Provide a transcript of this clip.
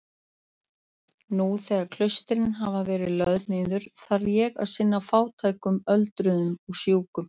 Nú þegar klaustrin hafa verið lögð niður þarf ég að sinna fátækum öldruðum og sjúkum.